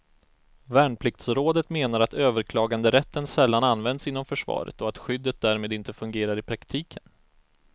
Värnpliktsrådet menar att överklaganderätten sällan används inom försvaret och att skyddet därmed inte fungerar i praktiken.